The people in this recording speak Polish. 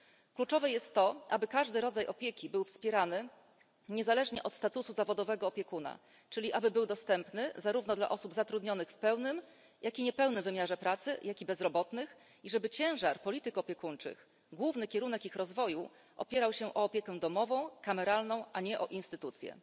Kluczowe jest to, aby każdy rodzaj opieki był wspierany niezależnie od statusu zawodowego opiekuna, czyli aby był dostępny zarówno dla osób zatrudnionych w pełnym, jak i niepełnym wymiarze pracy oraz dla bezrobotnych i żeby ciężar polityk opiekuńczych, główny kierunek ich rozwoju opierał się na opiece domowej, kameralnej, a nie na instytucjach.